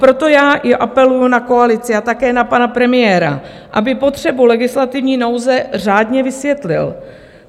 Proto já i apeluji na koalici a také na pana premiéra, aby potřebu legislativní nouze řádně vysvětlil.